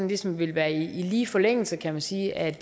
ligesom ville være i lige forlængelse kan man sige af